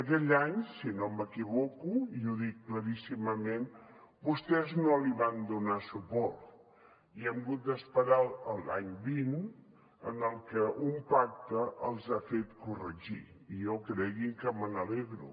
aquell any si no m’equivoco i ho dic claríssimament vostès no hi van donar suport i hem hagut d’esperar a l’any vint en què un pacte els ha fet corregir i jo creguin que me n’alegro